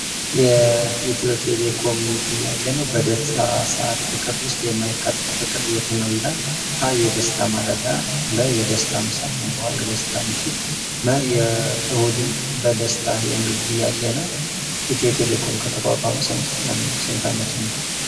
የኢትዮቴሌኮም ጥያቄ ነው። በደስታ ሰአት ጥቅል ውስጥ የማይካተተው ጥቅል የቱ ነው? ሀ. የደስታ ማለዳ ለ. የደስታ ምሳ ሐ. የደስታ ምሽት መ. እሁድን በደስታ የሚል ጥያቄ ነው። ኢትዮቴሌኮም ከተቋቋመ ስንት አመቱ ነው?